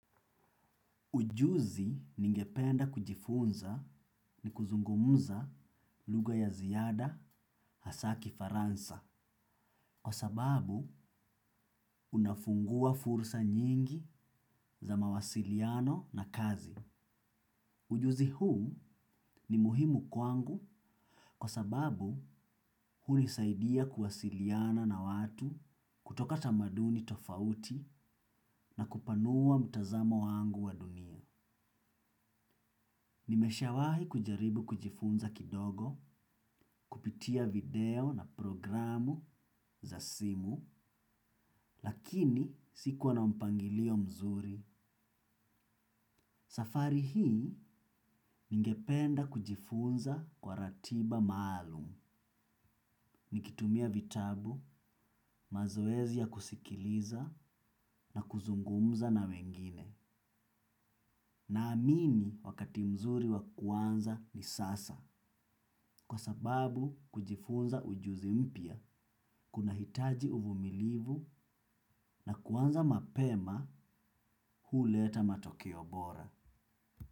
Ujuzi ningependa kujifunza ni kuzungumza lugha ya ziada hasa kifaransa kwa sababu unafungua fursa nyingi za mawasiliano na kazi. Ujuzi huu ni muhimu kwangu kwa sababu hunisaidia kuwasiliana na watu kutoka tamaduni tofauti na kupanua mtazamo wangu wa dunia. Nimesha wahi kujaribu kujifunza kidogo, kupitia video na programu za simu, lakini sikuwa na mpangilio mzuri. Safari hii ningependa kujifunza kwa ratiba maalum. Nikitumia vitabu, mazoezi ya kusikiliza na kuzungumza na wengine. Naamini wakati mzuri wakuanza ni sasa. Kwa sababu kujifunza ujuzi mpya kuna hitaji uvumilivu na kuanza mapema huleta matokeobora.